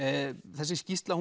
þessi skýrsla